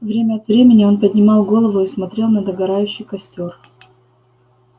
время от времени он поднимал голову и смотрел на догорающий костёр